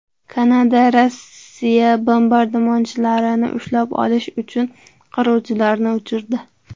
Kanada Rossiya bombardimonchilarini ushlab olish uchun qiruvchilarini uchirdi.